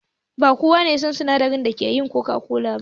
Ba kowa ya san sinadarin da ake yin coca-cola ba.